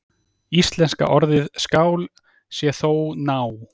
Íslenska orðið skál sé þó ná